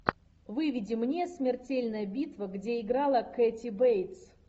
выведи мне смертельная битва где играла кэти бейтс